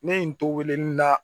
Ne ye n to weleli la